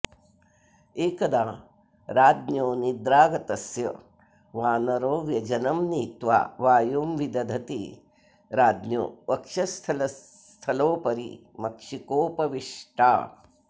एकदा राज्ञो निद्रागतस्य वानरो व्यजनं नीत्वा वायुं विदधति राज्ञो वक्षःस्थलोपरि मक्षिकोपविष्टा